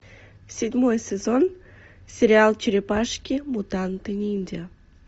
седьмой сезон сериал черепашки мутанты ниндзя